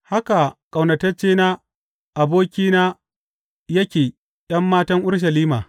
Haka ƙaunataccena, abokina, yake ’yan matan Urushalima.